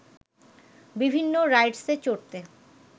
বিভিন্ন রাইডসে চড়তে